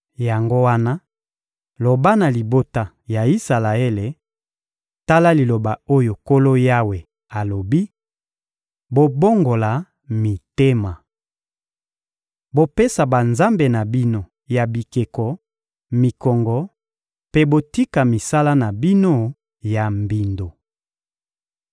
Yango wana, loba na libota ya Isalaele: ‹Tala liloba oyo Nkolo Yawe alobi: Bobongola mitema! Bopesa banzambe na bino ya bikeko mikongo mpe botika misala na bino ya mbindo!